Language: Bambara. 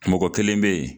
Mɔgɔ kelen bɛ yen